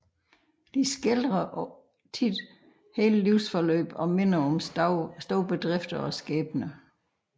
De skildrer ofte hele livsforløb og minder om store bedrifter og skæbner